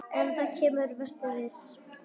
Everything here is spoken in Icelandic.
En það kemur, vertu viss.